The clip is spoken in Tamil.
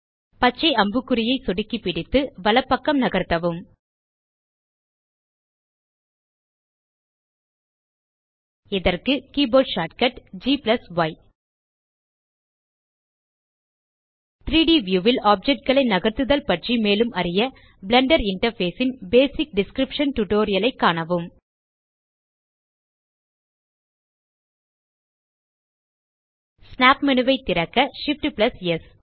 பச்சை அம்புக்குறியை சொடுக்கி பிடித்து வலப்பக்கம் நகர்த்தவும் இதற்கு கீபோர்ட் ஷார்ட்கட் கேம்பி 3ட் வியூ ல் ஆப்ஜெக்ட் களை நகர்த்துதல் பற்றி மேலும் அறிய பிளெண்டர் இன்டர்ஃபேஸ் ன் பேசிக் டிஸ்கிரிப்ஷன் டியூட்டோரியல் ஐ காணவும் ஸ்னாப் மேனு ஐ திறக்க Shift ஆம்ப் ஸ்